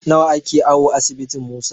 Nawa ake awo asibitin Musa?